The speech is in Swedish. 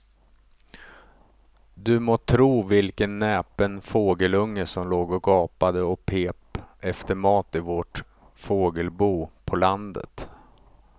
Du må tro vilken näpen fågelunge som låg och gapade och pep efter mat i vårt fågelbo på landet.